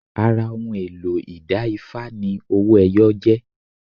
Ara ohun èlò ìda Ifá ni owó ẹwọ jẹ́